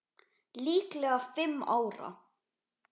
Líklega fimm ára.